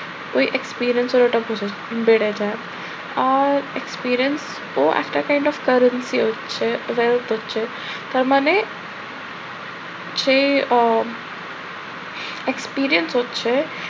ঐ experience এর ওটা বেড়ে যায়। আর experience তো একটা kind of piracy হচ্ছে, তার মানে সে ও experience হচ্ছে